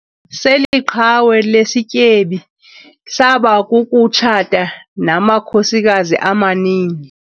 Seli qhawe lesityebi saba kukutshata namakhosikazi amaninzi.